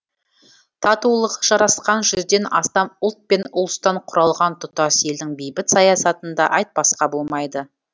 татулығы жарасқан жүзден астам ұлт пен ұлыстан құралған тұтас елдің бейбіт саясатын да айтпасқа болмайды